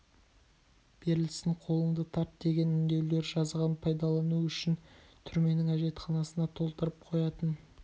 берілсін қолыңды тарт деген үндеулер жазған пайдалану үшін түрменің әжетханасына толтырып қоятын